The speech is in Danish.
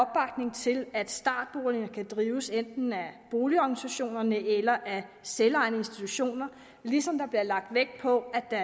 til at startboligerne kan drives enten af boligorganisationerne eller af selvejende institutioner ligesom der bliver lagt vægt på at der